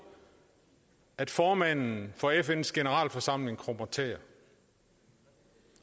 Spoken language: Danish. at formanden for fns generalforsamling krummer tæer